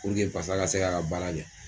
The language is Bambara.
Puruke pasa ka se ka ka baarakɛ.